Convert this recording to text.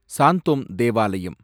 சாந்தோம் தேவாலயம்